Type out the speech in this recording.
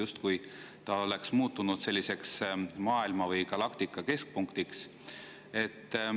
oleks justkui muutunud maailma või galaktika keskpunktiks.